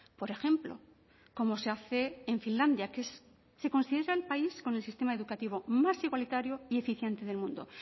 por ejemplo como se hace en finlandia que se considera el país con el sistema educativo más igualitario y eficiente del mundo